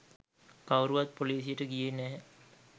කවුරුවත් පොලිසියට ගියේ නැහැ.